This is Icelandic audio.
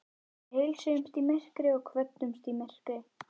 Við heilsuðumst í myrkri og kvöddumst í myrkri.